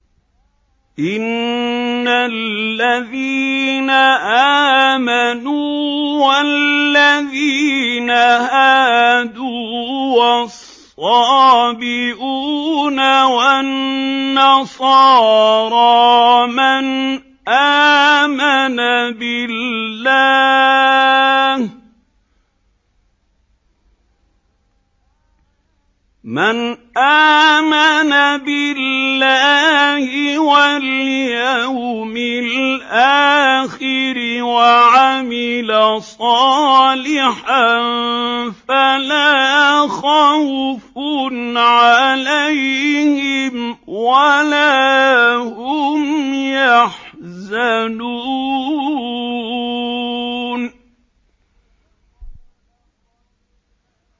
إِنَّ الَّذِينَ آمَنُوا وَالَّذِينَ هَادُوا وَالصَّابِئُونَ وَالنَّصَارَىٰ مَنْ آمَنَ بِاللَّهِ وَالْيَوْمِ الْآخِرِ وَعَمِلَ صَالِحًا فَلَا خَوْفٌ عَلَيْهِمْ وَلَا هُمْ يَحْزَنُونَ